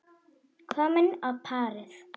Komin á parið.